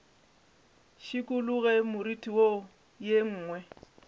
šikologe moriti wo ye nngwe